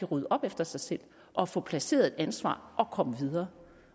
rydde op efter sig selv og få placeret et ansvar og komme videre